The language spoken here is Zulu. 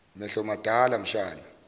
mehlo madala mshana